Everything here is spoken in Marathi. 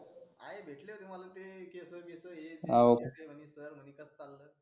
आहे णा भेटले होते केस बिस हे ते केल म्हणे sir म्हणे कस चाल